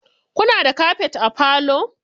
Kuna da kafet a falo?